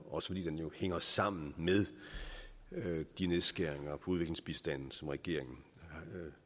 også fordi den jo hænger sammen med de nedskæringer på udviklingsbistanden som regeringen